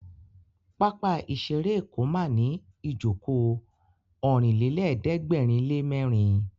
Pápá ìṣeré Èkó ma ní ìjókòó Ọ̀rìnlélẹ̀ẹ́dẹ́gbèrinlémẹ́rin